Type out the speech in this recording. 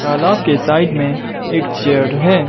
तलाब के साइड में एक चेयर है।